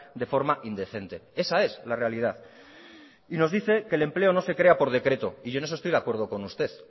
de forma indecente esa es la realidad y nos dice que el empleo no se crea por decreto y yo en eso estoy de acuerdo con usted